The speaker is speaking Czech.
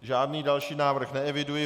Žádný další návrh neeviduji.